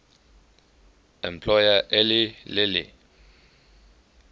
employer eli lilly